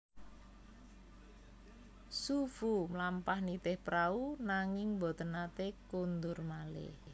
Xu Fu mlampah nitih prau nanging boten naté kundur malih